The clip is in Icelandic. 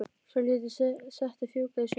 Svo lét ég settið fjúka í sumar.